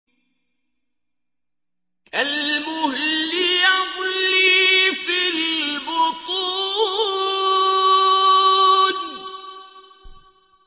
كَالْمُهْلِ يَغْلِي فِي الْبُطُونِ